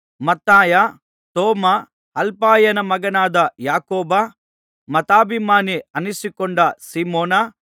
ಮತ್ತಾಯ ತೋಮ ಅಲ್ಫಾಯನ ಮಗನಾದ ಯಾಕೋಬ ಮತಾಭಿಮಾನಿ ಅನ್ನಿಸಿಕೊಂಡ ಸೀಮೋನ